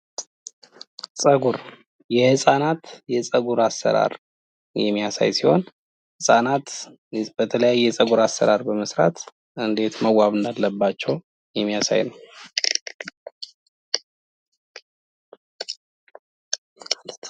ጸጉር የህጻናት የጸጉር አሰራር የሚያሳይ ሲሆን ህጻናት በተለያየ የጸጉር አሰራር በመስራት እንዴት መዋብ እንዳለባቸው የሚያሳይ ነው።